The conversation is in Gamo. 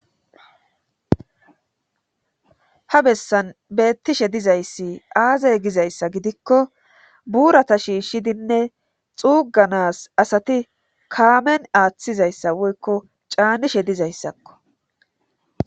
Ha bessan beettishe dizayssi aazay gizayssa gidikko buurata shiishshidinne xuuganas asati kaamen aaththizayssa woykko caanishe dizayssakko.